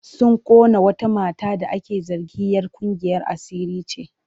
Sun ƙona wata mata da ake zargin'yar ƙungiyar asiri ce.